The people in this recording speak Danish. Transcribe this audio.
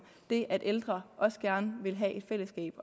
det at ældre også gerne vil have et fællesskab